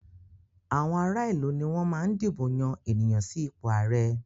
Àwọn ará ìlú ni wọ́n máa ń dìbò yan ènìyàn sí ipò ààrẹ.